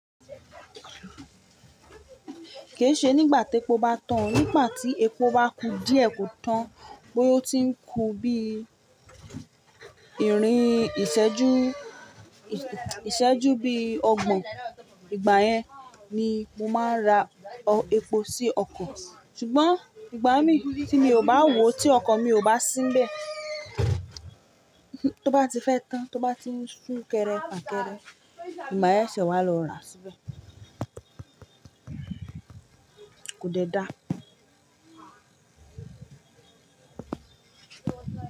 Kì í ṣe nígbà tí epo bá tán, nígbà tí epo bá ku díẹ̀ kò tán bóyá ó tí ń ku bí i ìrìn ìṣẹ́jú, ìṣẹ́jú bí i ọgbọ̀n. Ìgbà yẹn ni mo máa ń ra epo sí ọkọ̀. Ṣùgbọ́n ìgbà mí tí mi ò bá wò ó tí ọkan mi ò bá sínbẹ̀, tó bá ti fẹ́ tán, tó bá ti ń ṣú kẹrẹ, fàkẹrẹ, ni ma se ṣe wàá lọ ra síbẹ̀. Kò dé dáa.